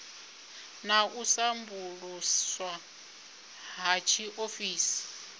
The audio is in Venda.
na u sambuluswa ha tshiofisi